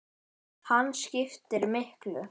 Hann skiptir miklu.